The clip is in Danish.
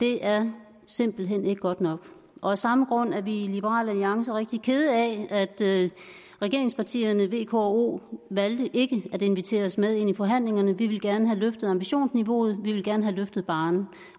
det er simpelt hen ikke godt nok og af samme grund er vi i liberal alliance rigtig kede af at regeringspartierne v k og o valgte ikke at invitere os med til forhandlingerne vi ville gerne have løftet ambitionsniveauet vi ville gerne have løftet barren